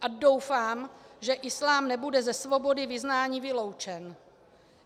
A doufá, že islám nebude ze svobody vyznání vyloučen.